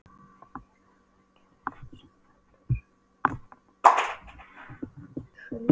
Nei, nei, þetta er ekkert eins og þú heldur.